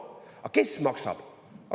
Aga kes maksab?